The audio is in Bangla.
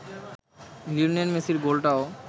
লিওনেল মেসির গোলটাও